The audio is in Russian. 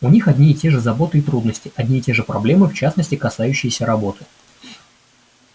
у них одни и те же заботы и трудности одни и те же проблемы в частности касающиеся работы